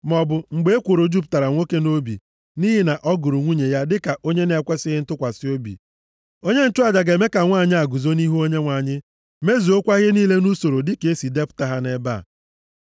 Maọbụ mgbe ekworo jupụtara nwoke nʼobi nʼihi na ọ gụrụ nwunye ya dịka onye na-ekwesighị ntụkwasị obi. Onye nchụaja ga-eme ka nwanyị a guzo nʼihu Onyenwe anyị, mezuokwa ihe niile nʼusoro dịka e si depụta ha nʼebe a.